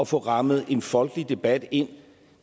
få rammet en folkelig debat ind